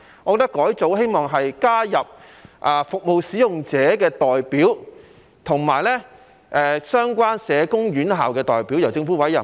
我希望改組以加入服務使用者的代表及相關社工院校的代表，由政府委任。